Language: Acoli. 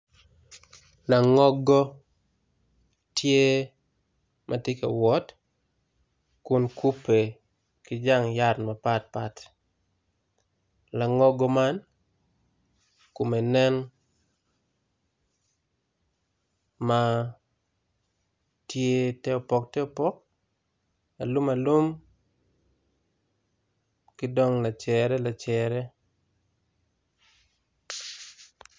Langogo tye matye ka wot kun kupe ki jang yat mapat pat langogo man kome nen ma tye teopok te opok alum alum kidong lacere lacere.